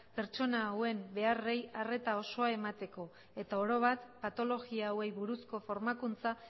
pertsona hauen beharrei arreta osoa emateko eta orobat patologia hauei buruzko formakuntza